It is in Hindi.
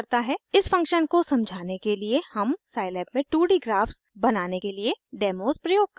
इस फंक्शन को समझाने के लिए हम साइलैब में 2d ग्राफ्स बनाने के लिए डेमोस प्रयोग करेंगे